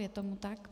Je tomu tak.